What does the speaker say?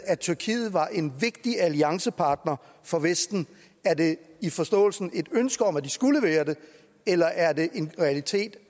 at tyrkiet var en vigtig alliancepartner for vesten er det i forståelsen et ønske om at de skulle være det eller er det en realitet